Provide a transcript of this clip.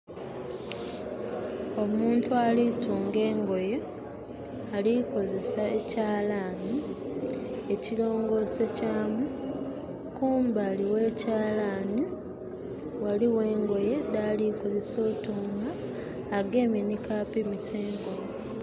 Omuntu ali tunga engoye, ali kozesa ekyalani ekirongose kyamu. Kumbali we kyalani waliwo engoye dhali kozesa otunga, agamye ni kapimisa engoye